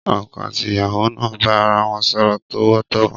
Ọkọ̀ àti ìyàwó náà bá ara wọn sọ̀rọ̀ tọ̀wọ̀tọ̀wọ̀.